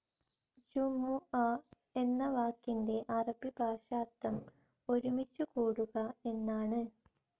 ജുമുഅ എന്ന വാക്കിൻ്റെ അറബി ഭാഷാർഥം ഒരുമിച്ചു കൂടുക എന്നാണ്.